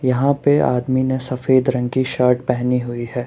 यहां पे आदमी ने सफेद रंग की शर्ट पहनी हुई है।